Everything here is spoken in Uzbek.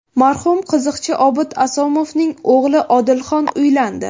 Marhum qiziqchi Obid Asomovning o‘g‘li Odilxon uylandi .